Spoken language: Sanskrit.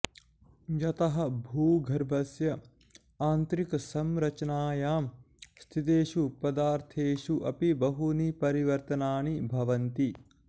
यतः भूगर्भस्य आन्तरिकसंरचनायां स्थितेषु पदार्थेषु अपि बहूनि परिवर्तनानि भवन्ति